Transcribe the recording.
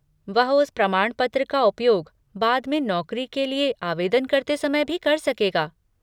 वह उस प्रमाणपत्र का उपयोग बाद में नौकरी के लिए आवेदन करते समय भी कर सकेगा।